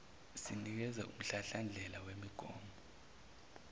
sinikeza umhlahlandlela wemigomo